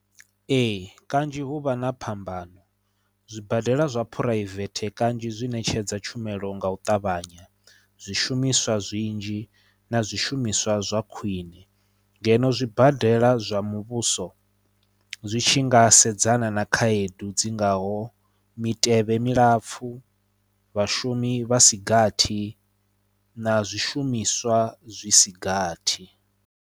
Ee kanzhi hu vha na phambano zwibadela zwa phuraivethe kanzhi zwi ṋetshedza tshumelo nga u ṱavhanya zwishumiswa zwinzhi na zwishumiswa zwa khwine ngeno zwibadela zwa muvhuso zwi tshi nga sedzana na khaedu dzi ngaho mitevhe milapfu vhashumi vhasigathi na zwishumiswa zwisigathi.